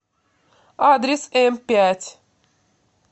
адрес эмпять